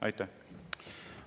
Aitäh!